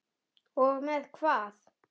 Og með hvað?